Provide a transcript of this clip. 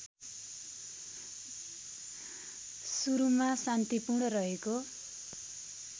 सुरुमा शान्तिपूर्ण रहेको